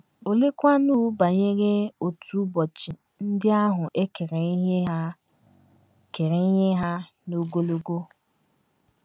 Oleekwanụ banyere otú ụbọchị ndị ahụ e kere ihe hà kere ihe hà n’ogologo?